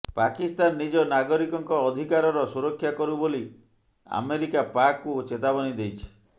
ପାକିସ୍ତାନ ନିଜ ନାଗରିକଙ୍କ ଅଧିକାରର ସୁରକ୍ଷା କରୁ ବୋଲି ଆମେରିକା ପାକ୍ କୁ ଚେତାବନୀ ଦେଇଛି